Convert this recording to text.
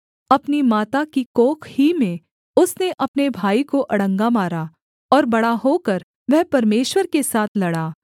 अपनी माता की कोख ही में उसने अपने भाई को अड़ंगा मारा और बड़ा होकर वह परमेश्वर के साथ लड़ा